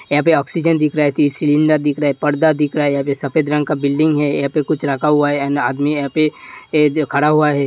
यहाँ पे ऑक्सीजन दिख रहा है। तीन सिलिंडर दिख रहा है। पर्दा दिख रहा है। यहाँ सफ़ेद रंग का बिल्डिंग है। यहाँ पे कुछ रखा हुआ है। आदमी यहाँं पे खड़ा हुआ है।